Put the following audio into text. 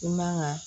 I man ka